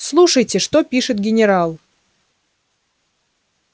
слушайте что пишет генерал